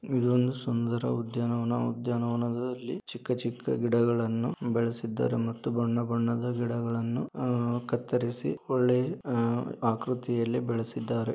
ಇದು ಒಂದು ಸುಂದರ ಉದ್ಯಾನವನ. ಉದ್ಯಾನವನದಲ್ಲಿ ಚಿಕ್ಕ ಚಿಕ್ಕ ಗಿಡಗಳನ್ನೂ ಬೆಳಿಸಿದರೆ ಮತ್ತು ಬಣ್ಣ ಬಣ್ಣ ಗಿಡಗಳನು ಕತ್ತರಿಸಿ ಒಳ್ಳೆಯ ಆಕೃತಿದಲ್ಲಿ ಬೆಳೆಸಿದರೆ.